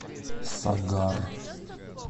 сагар